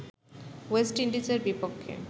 West ইন্ডিজের বিপক্ষে